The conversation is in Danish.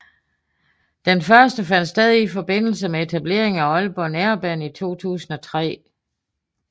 Den første fandt sted i forbindelse med etableringen af Aalborg Nærbane i 2003